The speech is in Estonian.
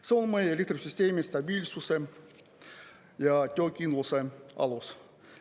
See on meie elektrisüsteemi stabiilsuse ja töökindluse alus.